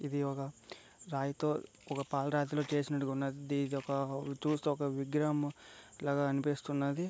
ఇది ఒక రాయితో ఒక పాల రాతిలో చేసి నట్టుగున్నాది.ఇది ఒక దీన్ని చుస్తే ఒక విగ్రహం లాగా అనిపిస్తున్నది.